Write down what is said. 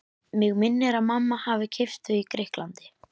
Mig minnir að mamma hafi keypt þau í Grikklandi.